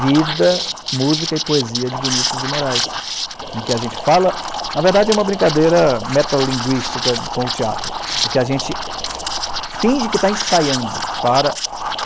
Vida, Música e Poesia de Vinícius de Moraes, em que a gente fala... Na verdade, é uma brincadeira metalinguística com o teatro, porque a gente finge que está ensaiando para